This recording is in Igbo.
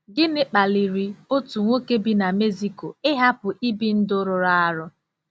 Gịnị kpaliri otu nwoke bi na Mexico ịhapụ ibi ndụ rụrụ arụ?